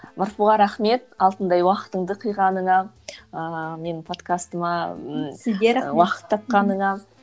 марфуға рахмет алтындай уақытыңды қиғаныңа ыыы менің подкастыма ммм ы уақыт тапқаныңа